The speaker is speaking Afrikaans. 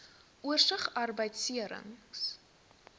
oorsig arbeidbeserings